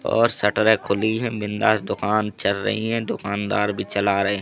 और शटरे खुली है। बिंदास दुकान चल रही है। दुकानदार भी चला रहे--